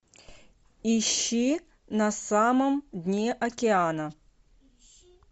ищи на самом дне океана